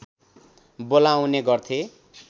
बोलाउने गर्थे